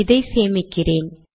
இதை சேமிக்கிறேன்